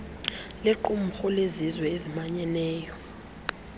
liqumrhu lezizwe ezimanyeneyo